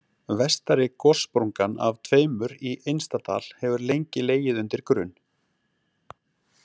Vestari gossprungan af tveimur í Innstadal hefur lengi legið undir grun.